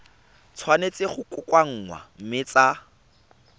tshwanetse go kokoanngwa mme tsa